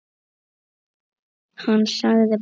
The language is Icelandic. Hann sagði pass.